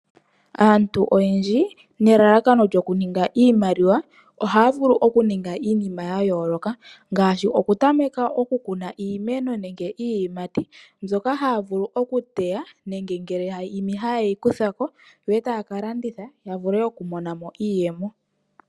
Aantu oyendji nelalakano lyokuninga iimaliwa ohaya vulu okuninga iinima yayooloka ngaashi okutameka oku kuna iimeno nenge iiyimati mbyoka haya vulu okuteya nenge ngele ya imi ohaye yi kuthako ndele taya kalanditha yavule okumonamo iiyemo.